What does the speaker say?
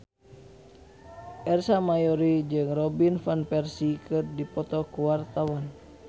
Ersa Mayori jeung Robin Van Persie keur dipoto ku wartawan